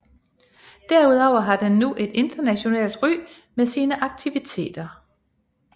Derudover har den nu et internationalt ry med sine aktiviteter